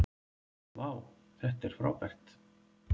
vá þetta er frábært